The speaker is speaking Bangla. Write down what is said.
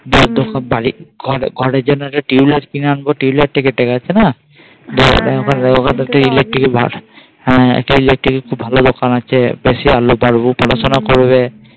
ঘরের জন্য একটা Twilight Twilight টা কিনে আনবো একটা electric ভালো দোকান আছে পড়াশোনা করবে